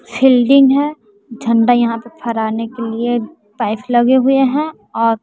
shielding हैं झंडा यहां पर फहराने के लिए पाईप लगे हुए है और--